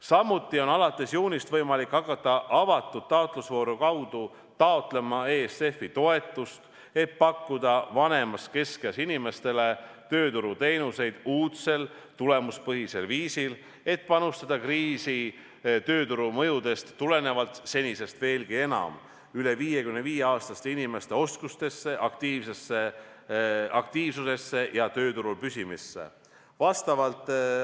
Samuti on alates juunist võimalik hakata avatud taotlusvooru kaudu taotlema ESF-i toetust, et pakkuda vanemas keskeas inimestele tööturuteenuseid uudsel tulemuspõhisel viisil, et panustada kriisi tööturule tekkinud mõjudest tulenevalt senisest veelgi enam üle 55-aastaste inimeste oskustesse, aktiivsusesse ja tööturul püsimisse.